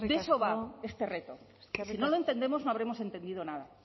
eso va este reto si no lo entendemos no habremos entendido nada